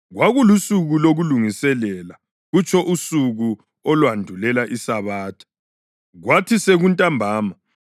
Kwakulusuku lokuLungiselela (kutsho usuku olwandulela iSabatha). Kwathi sekuntambama